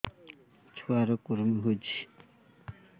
ଛୁଆ ର କୁରୁମି ହୋଇଛି